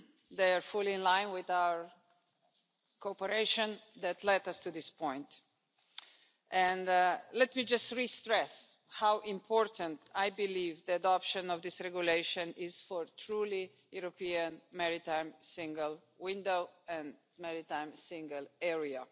They are fully in line with our cooperation that led us to this point. Let me just restress how important I believe the adoption of this regulation is for a truly European maritime single window and maritime single area.